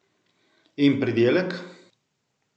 In pridelek?